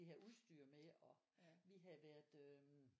De havde udstyr med og vi havde været øh